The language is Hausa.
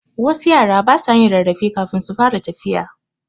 Wasu yara basa yin rarrafe kafin su fara tafiya